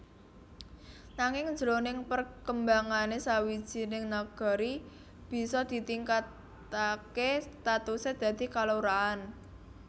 Nanging jroning perkembangané sawijining Nagari bisa ditingkataké statusé dadi kalurahan